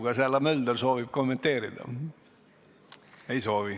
Kas härra Mölder soovib kommenteerida?